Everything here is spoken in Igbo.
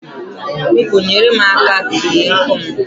Biko, nyere mụ aka kee nkụ m